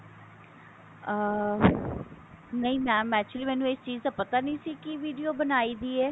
ਅਹ ਨਹੀਂ mam actually ਮੈਨੂੰ ਇਹ ਚੀਜ ਦਾ ਪਤਾ ਨਹੀਂ ਸੀ ਕਿ video ਬਣਾਈ ਦੀ ਹੈ